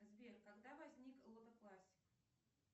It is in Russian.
сбер когда возник лото классик